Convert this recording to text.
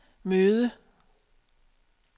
møde